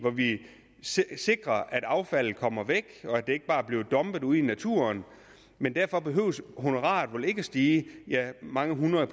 vi sikrer at affaldet kommer væk og at det ikke bare bliver dumpet ude i naturen men derfor behøver honoraret vel ikke at stige ja mange hundrede